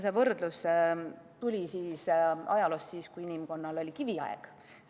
See võrdlus tuli ajaloost – sellest ajast, kui inimkonnal oli kiviaeg.